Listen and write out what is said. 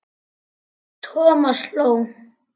Thomas hló.